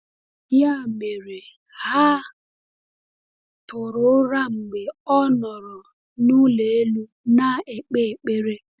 Ya mere, ha tụrụ ụra mgbe ọ nọrọ n’ụlọ elu na-ekpe ekpere.